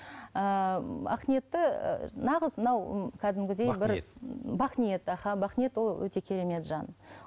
ыыы ақниетті і нағыз мынау м кәдімгідей бақниет аха бақниет ол өте керемет жан